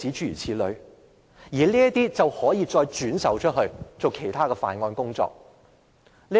然後，這些資料便可以再轉售作其他犯案工作。